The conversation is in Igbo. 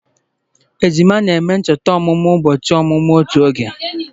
Ejima na-eme ncheta ọmụmụ ụbọchị ọmụmụ otu oge